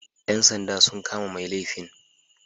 Yan sanda sun kama mai laifin